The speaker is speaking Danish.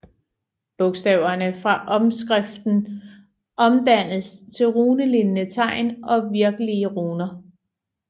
Bogstaverne fra omskriften omdannedes til runelignende tegn og virkelige runer